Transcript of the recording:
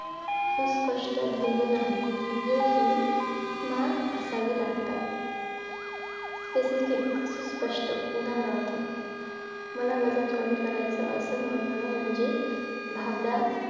सुस्पष्ट ध्येय नाही ध्येय हि smart असावी लागतात specifc स्पष्ट उदाहरणात मला वजन कमी करायच असं म्हणणं म्हणजे भाबडा